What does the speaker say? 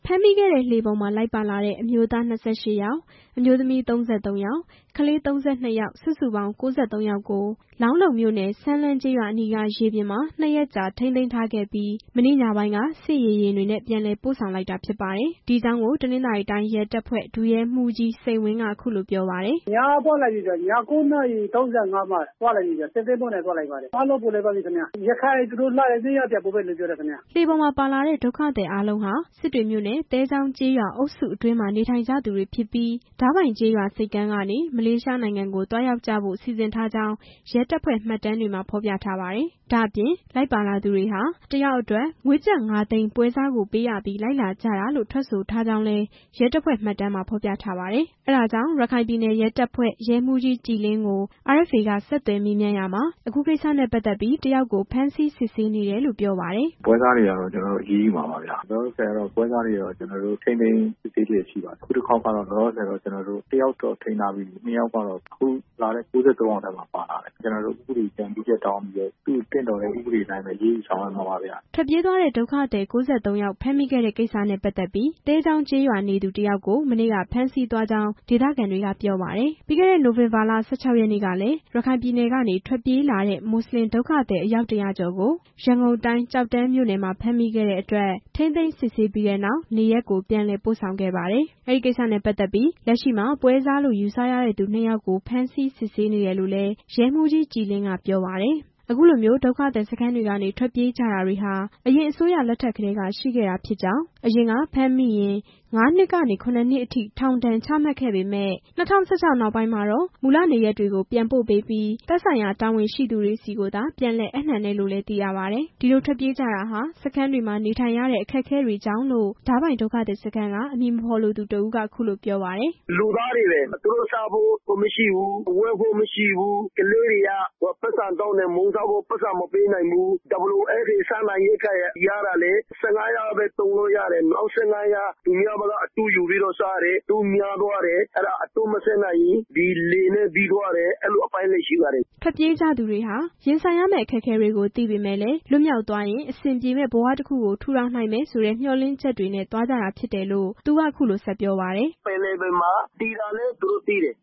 ဖမ်းမိခဲ့တဲ့ လှေပေါ်မှာ လိုက်ပါလာတဲ့ အမျိုးသား ၂၈ ယောက်၊ အမျိုးသမီး ၃၃ ယောက်၊ ကလေး ၃၂ ယောက် စုစုပေါင်း ၉၃ ယောက်ကို လောင်းလုံမြို့နယ်၊ စမ်းလှမ်းကျေးရွာအနီးက ရေပြင်မှာ ၂ ရက်ကြာ ထိန်းသိမ်းထားခဲ့ပြီး မနေ့ညပိုင်းက စစ်ရေယာဉ်တွေနဲ့ ပြန်လည်ပို့ဆောင်လိုက်တာ ဖြစ်ပါတယ်။ ဒီအကြောင်းကို တနင်္သာရီတိုင်းရဲတပ်ဖွဲ့ ဒုတိယ ရဲမှူးကြီး စိန်ဝင်း က အခုလိုပြောပါတယ်။ "ညကပို့လိုက်ပြီ၊ ည ၉ နာရီ ၃၅ မှာ စစ်သင်္ဘောနဲ့ သွားကြပါတယ်၊ အားလုံး ပြန်ပို့တာပါ၊ ရခိုင်သူတို့နေတဲ့နေရာ ပြန်ပို့ပေးမှာပါ" လှေပေါ်မှာပါလာတဲ့ ဒုက္ခသည်အာလုံးဟာ စစ်တွေမြို့နယ် သဲချောင်းကျေးရွာအုပ်စုအတွင်း နေထိုင်ကြသူတွေ ဖြစ်ပြီး ဒါးပိုင်ကျေးရွာဆိပ်ကမ်းကနေ မလေးရှားနိုင်ငံကို သွားရောက်ကြဖို့ စီစဉ်ထားကြောင်း ရဲတပ်ဖွဲ့မှတ်တမ်း မှာ ဖော်ပြထားပါတယ်။ ဒါ့အပြင် လိုက်ပါလာသူတွေဟာ တစ်ယောက်အတွက် ငွေကျပ် ၅ သိန်း ပွဲစားကိုပေးပြီး လိုက်လာကြတာလို့ ထွက်ဆိုထားကြောင်းလည်း ရဲတပ်ဖွဲ့မှတ်တမ်းမှာ ဖော်ပြထားပါတယ်။ အဲဒါကြောင့် ရခိုင်ပြည်နယ် ရဲတပ်ဖွဲ့ ရဲမှူးကြီး ကြည်လင်းကို RFA က ဆက်သွယ်မေးမြန်းရာမှာ အခုကိစ္စနဲ့ ပတ်သက်ပြီး တစ်ယောက်ကို ဖမ်းဆီးစစ်ဆေးနေကြောင်း ပြောပါတယ်။ "ပွဲစားတွေကတော့ ကျနော်တို့ အရေးယူမှာပါ၊ လောလောဆယ်တော့ ပွဲစားတွေကို ထိန်းသိမ်းစစ်ဆေး နေပါတယ်၊ အခုတစ်ခေါက်ကတော့ တစ်ယောက်တော့ ထိန်းထားပြီးပြီ၊ ၂ ယောက်ကတော့ အဲပြန်လာတဲ့ ၉၃ ယောက်ထဲမှာပါလာတယ်၊ ကျနော်တို့ ဥပဒေအကြံပြုချက်တောင်းပြီး သူတို့ကို သင့်တော်အတိုင်း အရေးယူဆောင်ရွက်မှာပါ" ထွက်ပြေးသွားတဲ့ ဒုက္ခသည် ၉၃ ယောက်ဖမ်းမိတဲ့ကိစ္စနဲ့ ပတ်သက်ပြီး သဲချောင်းကျေးရွာနေသူ တစ်ယောက်ကို မနေ့က ဖမ်းဆီးသွားကြောင်း ဒေသခံတွေက ပြောပါတယ်။ ပြီးခဲ့တဲ့ နိုဝင်ဘာ ၁၆ ရက်နေ့ကလည်း ရခိုင်ပြည်နယ်ကနေ ထွက်ပြေးလာတဲ့ မွတ်စလင် ဒုက္ခသည် အယောက် ၁၀၀ ကျော်ကို ရန်ကုန်တိုင်း ကျောက်တန်းမှာ ဖမ်းမိခဲ့တဲ့အတွက် ထိန်းသိမ်းစစ်ဆေးပြီးနောက် နေရပ်ကို ပြန်လည်ပို့ဆောင်ခဲ့ပါတယ်။ အဲဒီကိစ္စနဲ့ပတ်သက်ပြီး လက်ရှိမှာ ပွဲစားလို့ ယူဆရသူ ၂ ယောက်ကို ဖမ်းဆီးစစ်ဆေးနေကြောင်းလည်း ရဲမှူးကြီး ကြည်လင်း က ပြောပါတယ်။ အခုလိုမျိုး ဒုက္ခသည်စခန်းတွေကနေ ထွက်ပြေးကြတာတွေဟာ အရင်အစိုးရလက်ထက်ကတည်းက ရှိခဲ့တာ ဖြစ်ကြောင်း၊ အရင်က ဖမ်းမိရင် ၅ နှစ်ကနေ ၇ နှစ်အထိ ထောင်ဒဏ်ချမှတ်ခဲ့ပေမယ့် ၂၀၁၆ နောက်ပိုင်းမှာ မူလနေရပ်တွေကို ပြန်ပို့ပေးပြီး သက်ဆိုင်ရာ တာဝန်ရှိသူတွေဆီသာ ပြန်လည်အပ်နှံတယ်လို့လည်း သိရပါ တယ်။ ဒီလိုထွက်ပြေးကြတာဟာ စခန်းတွေမှာ နေထိုင်ရတဲ့ အခက်အခဲတွေကြောင့်လို့ ဒါးပိုင် ဒုက္ခသည်စခန်းက အမည်မဖော်လိုသူတစ်ဦးက အခုလိုပြောပြပါတယ်။ "လူသားတွေပဲ သူတို့စားဖို့မရှိဘူး၊ ဝတ်ဖို့မရှိဘူး၊ ကလေးတွေက ပိုက်ဆံတောင်းတယ်၊ မုန့်စားဖို့ ပိုက်ဆံမပေး နိုင်ဘူး၊ WFP စားနပ်ရိက္ခာက ရတာလည်း ၁၅ ရက်လောက်ပဲ သုံးလို့ရတယ်၊ နောက် ၁၅ ရက်အတွက် သူများ ဆီက အတိုးယူပြီးတော့ စားတယ်၊ အတိုးများလာတယ်၊ မဆပ်နိုင်ရင် ဒီလှေနဲ့ ပြေးသွားတယ်၊ အဲလိုအပိုင်းတွေရှိပါတယ် " ထွက်ပြေးကြသူတွေဟာ ရင်ဆိုင်ရမယ့် အခက်အခဲတွေကို သိပေမဲ့လည်း လွတ်မြောက်သွားရင် အဆင်ပြေမယ့် ဘဝတစ်ခုကို ထူထောင်နိုင်မယ်ဆိုတဲ့ မျှော်လင့်ချက်တွေနဲ့သွားကြတာဖြစ်တယ်လို့လည်း သူက အခုလိုဆက် ပြောပါတယ်။ "ပင်လယ်ပြင်မှာ သေမှာလည်း သူတို့သိတယ်